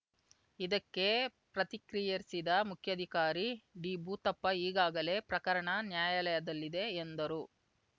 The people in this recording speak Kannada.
ಇದಕ್ಕೆ ಪ್ರತಿಕ್ರಿಯಿಸಿದ ಮುಖ್ಯಾಧಿಕಾರಿ ಡಿಭೂತಪ್ಪ ಈಗಾಗಲೇ ಪ್ರಕರಣ ನ್ಯಾಯಾಲಯದಲ್ಲಿದೆ ಎಂದರು